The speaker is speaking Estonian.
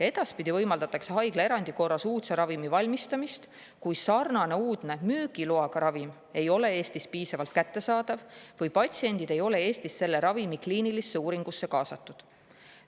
Edaspidi võimaldatakse haiglaerandi korras uudse ravimi valmistamist siis, kui sarnane uudne müügiloaga ravim ei ole Eestis piisavalt kättesaadav või kui patsiendid ei ole Eestis selle ravimi kliinilisse uuringusse kaasatud.